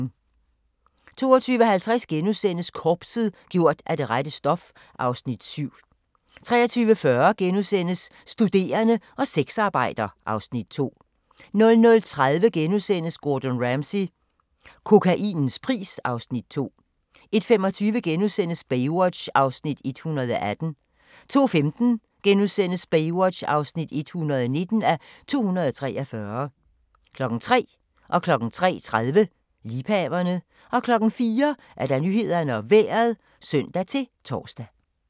22:50: Korpset - gjort af det rette stof (Afs. 7)* 23:40: Studerende og sexarbejder (Afs. 2)* 00:30: Gordon Ramsay - kokainens pris (Afs. 2)* 01:25: Baywatch (118:243)* 02:15: Baywatch (119:243)* 03:00: Liebhaverne 03:30: Liebhaverne 04:00: Nyhederne og Vejret (søn-tor)